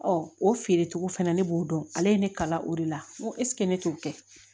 o feere cogo fɛnɛ ne b'o dɔn ale ye ne kalan o de la n ko ne t'o kɛ